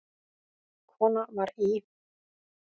Kona var í